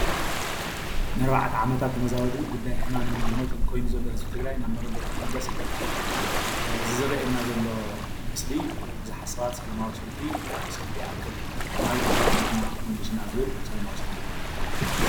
ንኣርባዕተ ዓመታት ተመዛበሉ ግዳይ ሕማምን ሞትን ኮይኑ ዘሎ ህዝቢ ትግራይ ናብ መረበቲ ኽምለስ ይግባእ። እዚ ዝረአያና ዘሎ ምሰሊ ቡዙሓት ሰባት ሰለማዊ ሰልፊ ሰልፉ ይኣክል ኾይኒ ናብ መረበትና መልሱና ዝብል ሰላማዊ ሰልፊ እዩ።